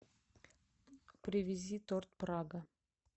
привези торт прага